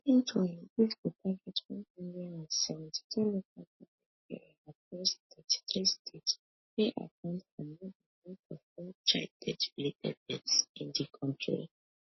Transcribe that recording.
eventually dis go target one hundred and seventy-two local goment areas across thirty-three states wey account for more dan half of all childbirthrelated deaths in di kontri